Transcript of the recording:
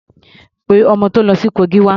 Pé ọmọ tó ń lọ sí Kogi wá.